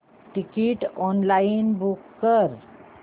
ticket online book कर